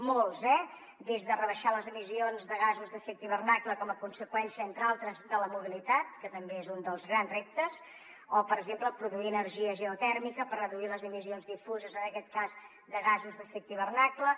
molts eh des de rebaixar les emissions de gasos d’efecte hivernacle com a conseqüència entre altres de la mobilitat que també és un dels grans reptes o per exemple produir energia geotèrmica per reduir les emissions difuses en aquest cas de gasos d’efecte hivernacle